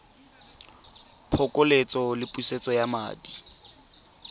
phokoletso le pusetso ya madi